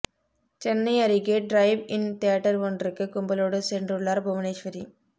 சென்னை அருகே drive in theatre ஒன்றுக்கு கும்பலோடு சென்றுள்ளார் புவனேஸ்வரி